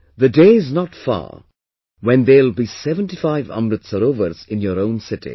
The day is not far when there will be 75 Amrit Sarovars in your own city